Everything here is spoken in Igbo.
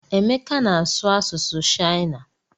Emeka na-asụ asụsụ shịana.